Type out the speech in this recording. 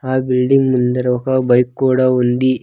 ఆ బిల్డింగ్ ముందర ఒక బైక్ కూడా ఉంది.